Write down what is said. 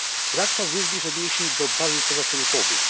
Brak tam również odniesień do barier pozataryfowych.